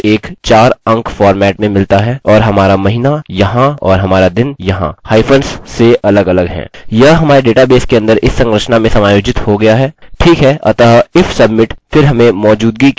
ठीक है अतः if submit फिर हमें मौजूदगी के जाँच की आवश्यकता है मैं यहाँ एक टिप्पणी जोडूँगा check for existence